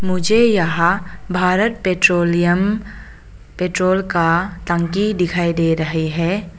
मुझे यहां Bharat petroleum petrol का टंकी दिखाई दे रहे है।